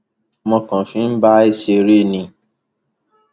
mo kàn fi bá a ṣeré ni